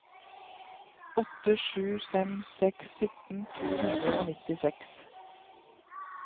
åtte sju fem seks sytten to hundre og nittiseks